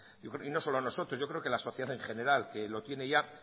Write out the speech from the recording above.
y no solo nosotros yo creo que la sociedad en general que lo tiene ya